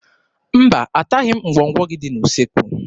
Mba, ataghị m ngwọngwọ gị dị n'usekwu.